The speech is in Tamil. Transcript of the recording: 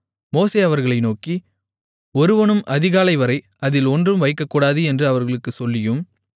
மோசே அவர்களை நோக்கி ஒருவனும் அதிகாலைவரை அதில் ஒன்றும் வைக்கக்கூடாது என்று அவர்களுக்குச் சொல்லியும்